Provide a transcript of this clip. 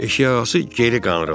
Eşik ağası geri qanırıldı.